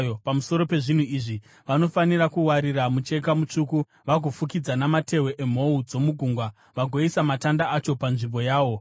Pamusoro pezvinhu izvi, vanofanira kuwarira mucheka mutsvuku, vagoifukidza namatehwe emhou dzomugungwa, vagoisa matanda acho panzvimbo yawo.